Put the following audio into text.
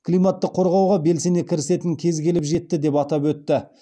климатты қорғауға белсене кірісетін кез келіп жетті деп атап өтті